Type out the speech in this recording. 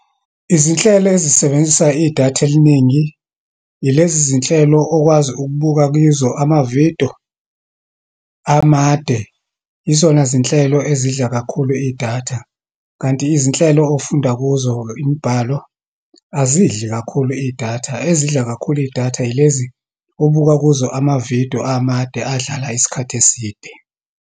Izinhlelo ezisebenzisa idatha eliningi, ilezi zinhlelo okwazi ukubuka kizo amavidiyo amade. Yizona zinhlelo ezidla kakhulu idatha. Kanti izinhlelo ofunda kuzo imibhalo, azidli kakhulu idatha. Ezidla kakhulu idatha, yilezi obuka kuzo amavidiyo amade, adlala isikhathi eside.